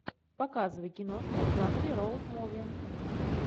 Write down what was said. показывай киношку в жанре роуд муви